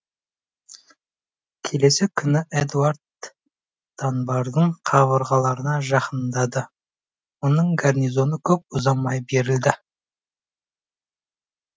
келесі күні эдуард данбардың қабырғаларына жақындады оның гарнизоны көп ұзамай берілді